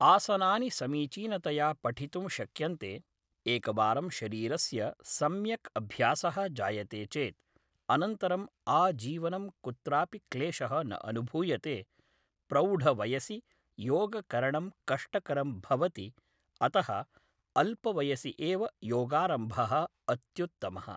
आसनानि समीचीनतया पठितुं शक्यन्ते एकवारं शरीरस्य सम्यक् अभ्यासः जायते चेत् अनन्तरं आजीवनं कुत्रापि क्लेशः न अनुभूयते प्रौढवयसि योगकरणं कष्टकरं भवति अतः अल्पवयसि एव योगारम्भः अत्युत्तमः